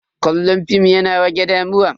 Kallon fim yana rage damuwa.